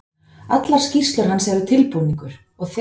Allar skýrslur hans eru tilbúningur og þegar